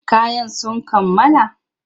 Kayan sun kammala?